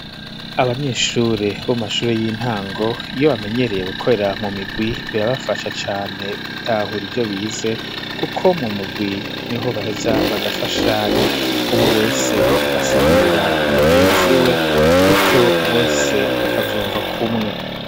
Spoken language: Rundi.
Abanyeshure bo mashure y'intango, iyo bamenyereye gukorera mu migwi, birabafasha cane gutahura ivyo bize, kuko mu mugwi niho baheza bagafashanya, umwe wese agasigurira mugenzi we, gutyo bose bakavyumva kumwe.